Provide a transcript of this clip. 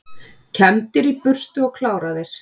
Kembdir í burtu og kláraðir